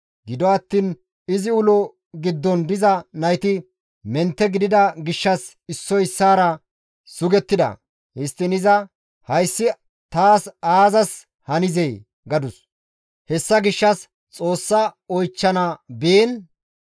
Gido attiin izi ulo giddon diza nayti mentte gidida gishshas issoy issaara sugettida; histtiin iza, «Hayssi ta bolla ays hanizee?» gadus. Hessa gishshas Xoossaa oychchana biin,